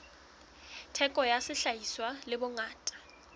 theko ya sehlahiswa le bongata